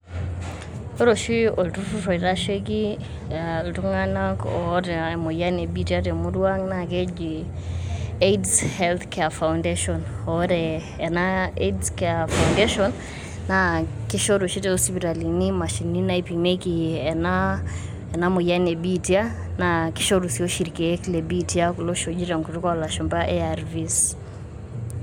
Ore oshi oltururr oitasheki iltung'anak aa oota emoyian lebiitia temurua ang' naa keji Aids health care foundation oore ena Aids Health care foundation naa keishoru oshi too sipitalini mashinini naipimieki ena moyian ebiitia, naa keishoru sii oshi irkiek lebiitia kulo oshi Koji tenkutuk oolashumba ARVS.